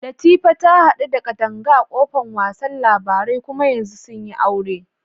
Latifa ta hadu da Kadanga a kofan wasa labarai kuma yanzu sun yi aure.